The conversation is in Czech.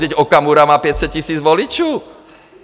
Vždyť Okamura má 500 000 voličů!